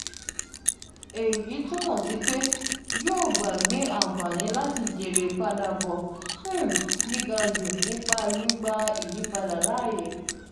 eyi tumọ si pe yoo gbagbe anfani lati jere ipadabọ um giga ju nipa gbigba iyipada laaye.